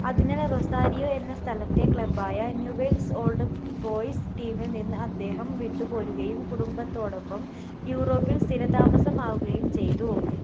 അതിനാൽ റൊസാരിയോ എന്ന സ്ഥലത്തെ club ആയ new wealth old boys team ൽ നിന്ന് അദ്ദേഹം വിട്ടുപോരുകയും കുടുംബത്തോടൊപ്പം യൂറോപ്പിൽ സ്ഥിരതാമസമാക്കുകയും ചെയ്തു